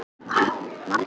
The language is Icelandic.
Hennar eigin spegilmynd.